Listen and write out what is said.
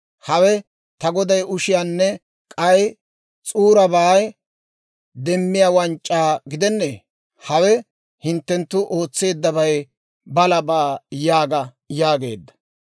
Hawe ta goday ushiyaanne k'ay s'uurabaa demmiyaa wanc'c'aa gidennee? Hawe hinttenttu ootseeddabay balabaa› yaaga» yaageedda.